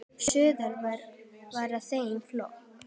Suður var í þeim flokki.